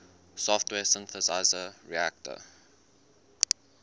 software synthesizer reaktor